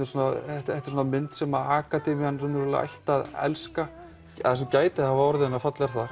þetta þetta er svona mynd sem akademían ætti að elska það sem gæti hafa orðið henni að falli er